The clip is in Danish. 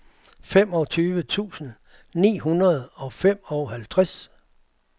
femogtyve tusind ni hundrede og femoghalvtreds